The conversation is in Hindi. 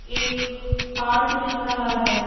एक पार्क दिख रहा है।